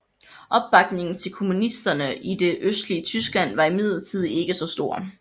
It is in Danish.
Opbakningen til kommunisterne i det østlige Tyskland var imidlertid ikke så stor